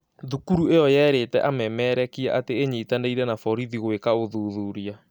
Thukuru ĩyo yerĩte amemerekia atĩ ĩnyitanĩiri na borithi gũeka ũthuthuria